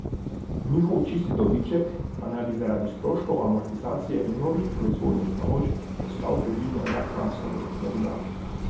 Njihov čisti dobiček pa naj bi zaradi stroškov amortizacije in novih proizvodnih naložb ostal približno enak lanskemu, je dodala.